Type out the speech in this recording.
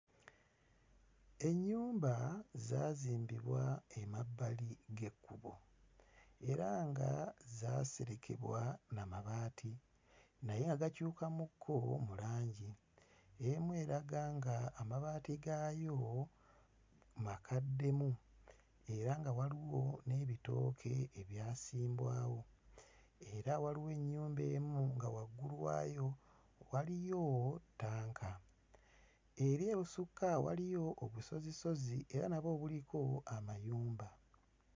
Ennyumba zaazimbibwa emabbali g'ekkubo era nga zaaserekebwa na mabaati naye agakyukamu kko mu langi, emu eraga nga amabaati gaayo makaddemu era nga waliwo n'ebitooke ebyasimbwawo era waliwo ennyumba emu nga waggulu waayo waliyo ttanka, eri ebusukka waliyo obusozisozi era nabwo buliko amayumba.